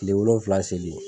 Kile wolonfila seli